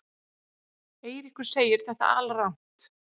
Eiríkur segir þetta alrangt.